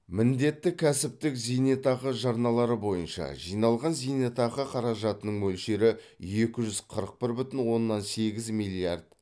міндетті кәсіптік зейнетақы жарналары бойынша жиналған зейнетақы қаражатының мөлшері екі жүз қырық бір бүтін оннан сегіз миллиард